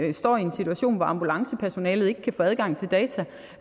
at stå i en situation hvor ambulancepersonalet ikke kan få adgang til data